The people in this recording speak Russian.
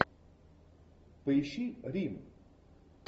поищи рим